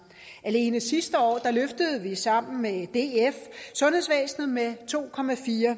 alene sidste år løftede vi sammen med df sundhedsvæsenet med to